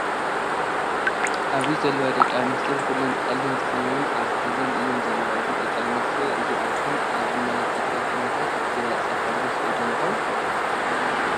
ኣብዚ ዘለዋ ደቂ ኣንስትዮ ኩለን ጠሊም ተከዲን ኣብ ሓዘን እየን ዘለዋ። እዚ ደቂ ኣንስትዮ እዚኣተን ኣብ ናይ ትግራይ ኩናት ብዝበፀሐ ግፍዒ ዶ ይከውን?